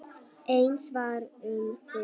Eins var um þig.